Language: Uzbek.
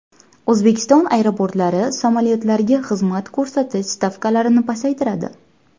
O‘zbekiston aeroportlari samolyotlarga xizmat ko‘rsatish stavkalarini pasaytiradi .